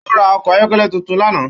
Ó ra ọkọ̀ ayọ́kẹ́lẹ́ tuntun lánàá